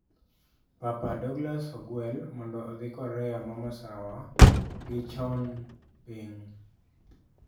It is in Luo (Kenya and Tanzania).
Papa Dauglas ogwel mondo odhi Korea ma masawa gi chon-ping